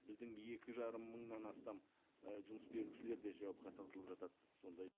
біздің екі жарым мыңнан астам і жұмыс берушілер де жауапқа тартылып жатады сондай